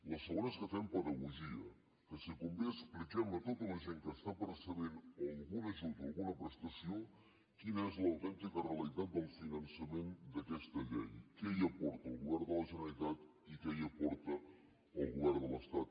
la segona és que fem pedagogia que si convé expliquem a tota la gent que està percebent algun ajut o alguna prestació quina és l’autèntica realitat del finançament d’aquesta llei què hi aporta el govern de la generalitat i què hi aporta el govern de l’estat